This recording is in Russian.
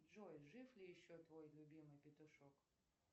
джой жив ли еще твой любимый петушок